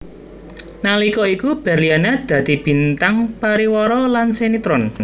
Nalika iku Berliana dadi bintang pariwara lan sinetron